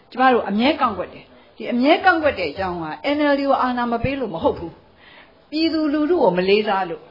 ကျမတို့ အမြဲ ကန့်ကွက်တယ်။ အမြဲ ကန့်ကွက်တဲ့အကြောင်းက NLD ကို အာဏာ မလွှဲလို့ မဟုတ်ဘူး၊ ပြည်သူလူထုကို မလေးစားလို့